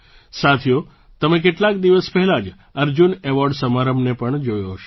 સાથીઓ તમે કેટલાક દિવસ પહેલાં જ અર્જુન એવૉર્ડ સમારંભને પણ જોયો હશે